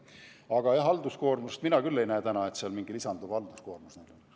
Aga seda mina küll ei näe, et seal mingi halduskoormus lisanduks.